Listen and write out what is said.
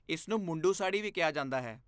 ਇਸ ਨੂੰ ਮੁੰਡੂ ਸਾੜੀ ਵੀ ਕਿਹਾ ਜਾਂਦਾ ਹੈ